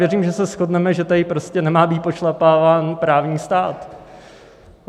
Věřím, že se shodneme, že tady prostě nemá být pošlapáván právní stát.